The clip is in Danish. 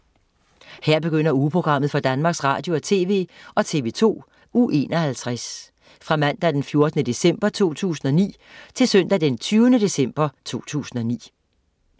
Her begynder ugeprogrammet for Danmarks Radio- og TV og TV2 Uge 51 Fra Mandag den 14. december 2009 Til Søndag den 20. december 2009